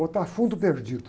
Botar fundo perdido.